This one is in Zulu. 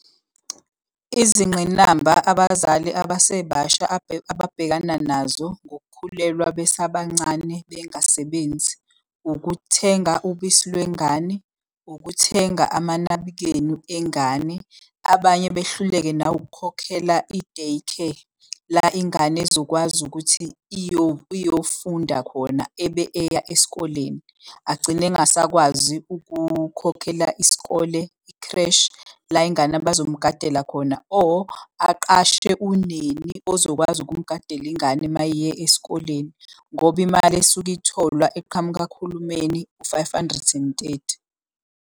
Izingqinamba abazali abasebasha ababhekana nazo ngokukhulelwa besabancane bengasebenzi, ukuthenga ubisi lwengane, ukuthenga amanabukeni engane. Abanye behluleke nawukukhokhela i-day care, la ingane ezokwazi ukuthi iyofunda khona ebe eya esikoleni. Agcine engasakwazi ukukhokhela isikole ikhreshi la ingane abazomugadela khona or aqashe uneni ozokwazi ukumugadela ingane uma eyesikoleni, ngoba imali esuke itholwa eqhamuka kuhulumeni u-five hundred and thirty.